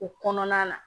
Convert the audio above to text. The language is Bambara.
O kɔnɔna na